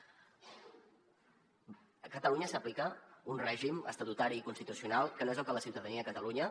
a catalunya s’aplica un règim estatutari i constitucional que no és el que la ciutadania de catalunya